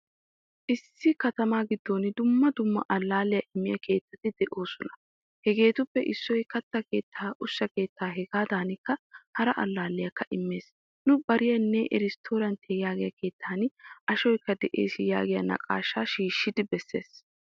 Issi katama giddon dumma dumma allaliyaa immiya keettaatti deosona. Hageetuppe issoy katta keetta, ushsha kettaa hegadankka hara allaliyaka immees. Nu baariyanne restoranttiya yaagiya keettan ashshoykka de'ees yaagiyaa naaqashsha shiishidi besees.